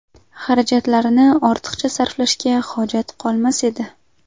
xarajatlarini ortiqcha sarflashga hojat qolmas edi.